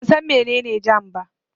Ban san mene ne jam ba